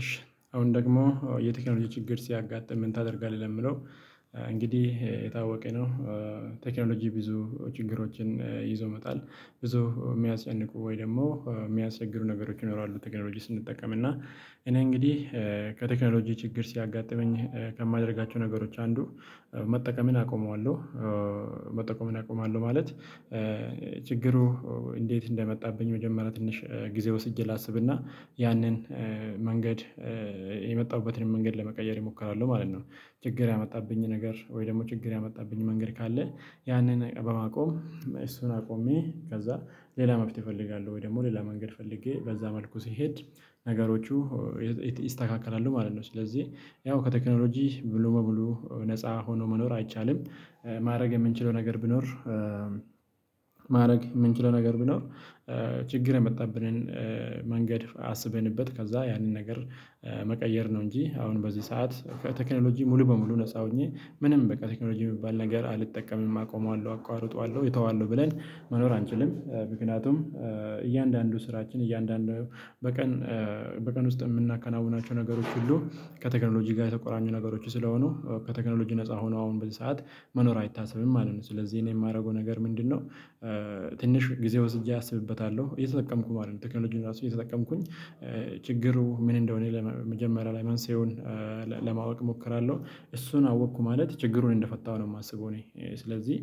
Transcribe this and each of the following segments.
እሺ አሁን ደግሞ የቴክኖሎጂ ችግር ሲያጋጥም ምን ታደርጋለህ? ለሚለው እንግዲህ የታወቀኝ ነው ቴክኖሎጂ ብዙ ችግሮችን ይዞ መቷል ብዙ የሚያስያስጨንቁ ወይ ደግሞ የሚያስገሩ ነገሮች ይኖራሉ ቴክኖሎጂ ስንጠቀም፤ እና እኔ እንግዲህ ከቴክኖሎጂ ችግር ሲያጋጥመኝ ከማደርጋቸው ነገሮች አንዱ መጠቀምን አቆመዋለሁ መጠቀምን አቆማለሁ ማለት ችግሩ እንዴት እንደመጣብኝ መጀመሪያ ትንሽ ጊዜ ወስጄ ላስብና ያንን መንገድ የመጣሁበትን መንገድ ለመቀየር የሞከራለሁ ማለት ነው። ችግር ያመጣብኝ ነገር ወይ ደግሞ ችግር ያመጣብኝ መንገድ ካለ ያንን በማቆም እሱን አቆሜ ከዛ ሌላ መፍትሄ እፈልጋለሁ ወይ ደግሞ ሌላ መንገድ ፈልጌ በዛ መልኩ ስሄድ ነገሮቹ ይስተካከላሉ ማለት ነው፤ ስለዚህ ያው ከቴክኖሎጂ ሙሉ በሙሉ ነፃ ሆኖ መኖር አይቻልም ማድረግ የምንችለው ነገር ብኖር ማድረግ የምንችለው ነገር ብኖር ችግር የመጣብንን መንገድ አስበንበት ከዛ ያንን ነገር መቀየር ነው እንጂ አሁን በዚህ ሰዓት ከቴክኖሎጂ ሙሉ በሙሉ ነፃ ሆኜ ምንም በቃ ቴክኖሎጂ የሚባል ነገር አልጠቀምም አቆመዋለሁ፣ አቋርጠዋለሁ፣ እተዋለሁ ብለን መኖር አንችልም ምክንያቱም እያንዳንዱ ስራችን እያንዳንዱ በቀን በቀን ውስጥ የምናከናውናቸው ነገሮች ሁሉ ከቴክኖሎጂ ጋር የተቆራኙ ነገሮች ስለሆኑ ከቴክኖሎጂ ነፃ ሆኖ አሁን በዚህ ሰዓት መኖር አይታሰብም ማለት ነው፤ ስለዚህ እኔ የማደርገው ነገር ምንድነው ትንሽ ጊዜ ወስጄ አስብበታለሁ እየተጠቀምኩ ማለት ነው ቴክኖሎጂውን ራሱ እየተጠቀምኩኝ ችግሩ ምን እንደሆነ ለመጀመሪያ ላይ መንሳኤውን ለማወቅ እሞክራለሁ እሱን አወቅኩ ማለት ችግሩን እንደፈታሁ ነው የማስበው እኔ ስለዚህ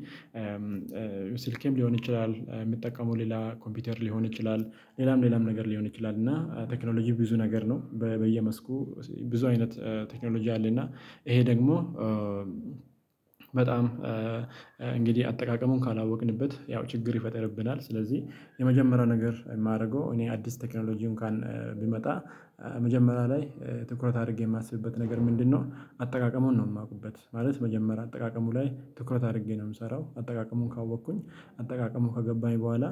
ስልኬም ሊሆን ይችላል፣ የሚጠቀመው ሌላ ኮምፒውተር ሊሆን ይችላል፣ ሌላም ሌላም ነገር ሊሆን ይችላል እና ቴክኖሎጂው ብዙ ነገር ነው በየመስኩ ብዙ አይነት ቴክኖሎጂ አለ እና ይሄ ደግሞ በጣም እንግዲህ አጠቃቀሙን ካላወቅንበት ያው ችግር ይፈጠርብናል ስለዚህ የመጀመሪያው ነገር የማደርገው እኔ አዲስ ቴክኖሎጂ እንኳን ቢመጣ መጀመሪያ ላይ ትኩረት አድርጌ የማስብበት ነገር ምንድነው አጠቃቀሙን ነው የማውቁበት ማለት መጀመሪያ አጠቃቀሙ ላይ ትኩረት አድርጌ ነው የምሰራው አጠቃቀሙን ካወቅኩኝ አጠቃቀሙን ከገባኝ በኋላ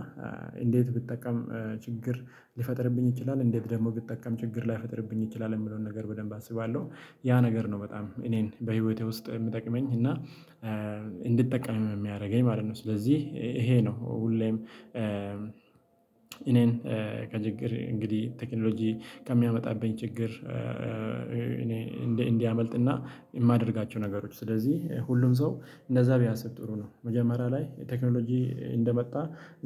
እንዴት ብጠቀም ችግር ሊፈጥርብኝ ይችላል እንዴት ደግሞ ብጠቀም ችግር ላይፈጥርብኝ ይችላል የሚለውን ነገር በደንብ አስባለሁ። ያ ነገር ነው በጣም እኔን በህይወቴ ውስጥ የሚጠቅመኝ እና እንድጠቀም የሚያደርገኝ ማለት ነው ስለዚህ ይሄ ነው ሁሌም እኔን ከችግር እንግዲህ ቴክኖሎጂ ከሚያመጣብኝ ችግር እኔ እንዲ እንዲያመልጥና የማደርጋቸው ነገሮች ስለዚህ ሁሉም ሰው እንደዛ ቢያስብ ጥሩ ነው መጀመሪያ ላይ ቴክኖሎጂ እንደመጣ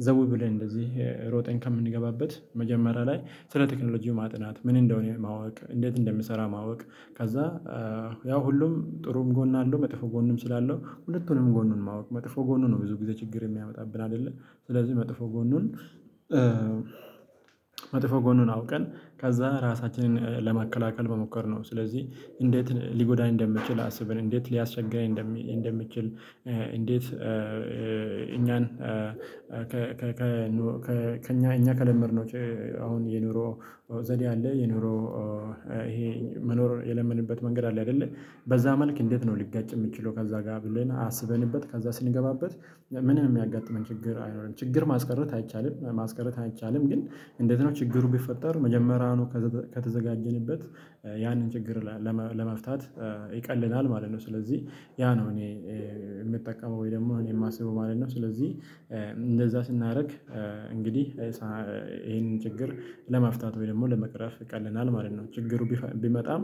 ዘው ብለን እንደዚህ ሮጠን ከምንገባበት መጀመሪያ ላይ ስለ ቴክኖሎጂው ማጥናት፣ ምን እንደሆነ ማወቅ፣ እንዴት እንደምሰራ ማወቅ ከዛ ያው ሁሉም ጥሩም ጎን አለው መጥፎ ጎንም ስላለው ሁለቱንም ጎኑን ማወቅ መጥፎ ጎኑ ነው ብዙ ጊዜ ችግር የሚያመጣብን አይደለ ስለዚህ መጥፎ ጎኑን መጥፎ ጎኑን አውቀን ከዛ ራሳችንን ለማከላከል መሞከር ነው ስለዚህ እንዴት ሊጎዳኝ እንደሚችል አስብን እንዴት ሊያስቸግረን እንደሚችል እንዴት ከእኛ እኛ ከለመድነው ዉጭ አሁን የኑሮ ዘዴ አለ የኑሮ ይሄ መኖር የለመድንበት መንገድ አለ አይደለ በዛ መልክ እንዴት ነው ሊጋጭ የምችለው ከዛ ጋር ብለን አስበንበት ከዛ ስንገባበት ምንም የሚያጋጥመን ችግር አኖርም። ችግር ማስቀረት አይቻልም ማስቀረት አይቻልም፤ ግን እንዴት ነው ችግሩ ቢፈጠር መጀመሪያውኑ ከተዘጋጀንበት ያንን ችግር ለመፍታት ይቀልናል ማለት ነው፤ ስለዚህ ያ ነው እኔ የምጠቀመው ወይ ደግሞ እኔ የማስበው ማለት ነው፤ ስለዚህ እንደዛ ስናደርግ እንግዲህ ይሄንን ችግር ለማፍታት ወይ ደግሞ ለመቅረፍ ይቀለናል ማለት ነው። ችግሩ ቢመጣም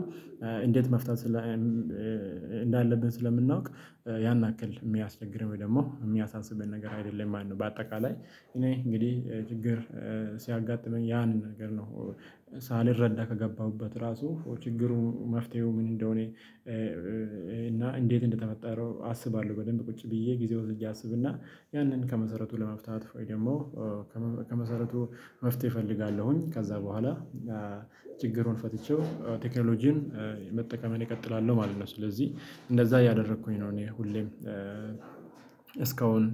እንዴት መፍታት እንዳለብን ስለምናውቅ ያን አክል የሚያስቸግረን ወይ ደግሞ የሚያሳስበን ነገር አይደለም ማለት ነው። በአጠቃላይ እኔ እንግዲህ ችግር ሲያጋጥመኝ ያን ነገር ነው ሳልረዳ ከገባሁበት ራሱ ችግሩ መፍትሄው ምን እንደሆነ እና እንዴት እንደተፈጠረው አስባለሁ በደንብ ቁጭ ብዬ ጊዜ ወስጄ አስብና ያንን ከመሰረቱ ለመፍታት ወይ ደግሞ ከመሰረቱ መፍትሄ እፈልጋለሁኝ ከዛ በኋላ ችግሩን ፈትቼው ቴክኖሎጂን መጠቀም እኔ እቀጥላለሁ ማለት ነው፤ ስለዚህ እንደዛ እያደረኩኝ ነው እኔ ሁሌም እስካሁን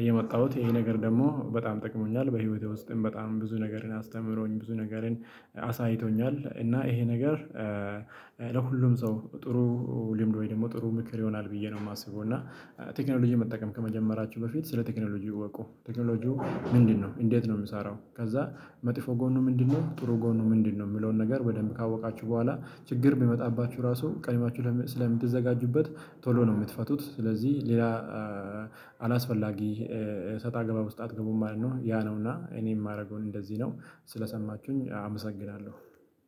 እየመጣሁት ይሄ ነገር ደግሞ በጣም ጠቅሞኛል በህይወቴ ውስጥም በጣም ብዙ ነገርን አስተምሮኝ ብዙ ነገርን አሳይቶኛል እና ይሄ ነገር ለሁሉም ሰው ጥሩ ልምድ ወይ ደግሞ ጥሩ ምክር ይሆናል ብዬ ነው የማስበው እና ቴክኖሎጂን መጠቀም ከመጀመራችሁ በፊት ስለ ቴክኖሎጂ እወቁ ቴክኖሎጂው ምንድነው፣ እንዴት ነው የምሰራው፣ ከዛ መጥፎ ጎኑ ምንድነው፣ ጥሩ ጎኑ ምንድነው የሚለውን ነገር ወደም ካወቃችሁ በኋላ ችግር ቢመጣባችሁ ራሱ ቀድማችሁ ስለሚዘጋጁበት ቶሎ ነው የምትፈቱት ስለዚህ ሌላ አላስፈላጊ ሰጣ ገባ ውስጥ አትገቡም ማለት ነው ያ ነው እና እኔ የማደርገውን እንደዚህ ነው ስለሰማችሁኝ አመሰግናለሁ።